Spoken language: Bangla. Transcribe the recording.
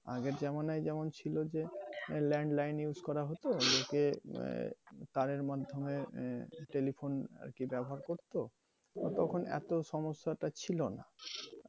আগের জামানায় যেমন ছিল যে land line use করা হতো যে আহ তাঁরের মাধ্যমে আহ telephone আরকি ব্যাবহার করতো, তা তখন এতো সমস্যা টা ছিলোনা।